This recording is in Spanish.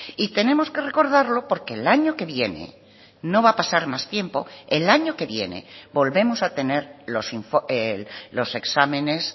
y tenemos que recordarlo porque el año que viene no va a pasar más tiempo el año que viene volvemos a tener los exámenes